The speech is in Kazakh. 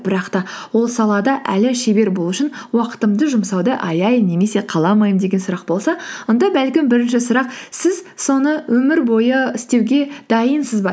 бірақ та ол салада әлі шебер болу үшін уақытымды жұмсауды аяймын немесе қаламаймын деген сұрақ болса онда бәлкім бірінші сұрақ сіз соны өмір бойы істеуге дайынсыз ба